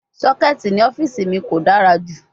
Socket ni ọfiisi mi ko dara ju